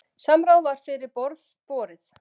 Samráð var fyrir borð borið.